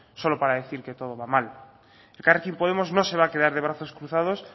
solo para decir que todo va mal elkarrekin podemos no se va a quedar de brazos cruzados